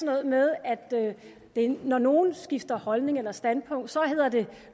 noget med at når nogle skifter holdning eller standpunkt så hedder det